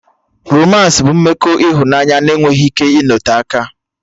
Romans bụ mmekọ ịhụnanya na enweghị ike ịnote aka